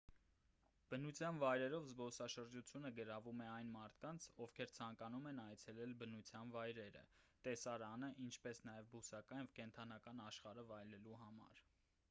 բնության վայրերով զբոսաշրջությունը գրավում է այն մարդկանց ովքեր ցանկանում են այցելել բնության վայրերը տեսարանը ինչպես նաև բուսական և կենդանական աշխարհը վայելելու համար